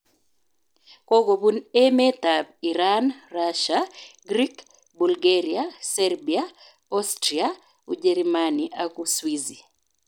Kokobun emet ab Iran, Rasia, Grik, Bulgaria, Serbia, Austria, Ujerimani ak Uswizi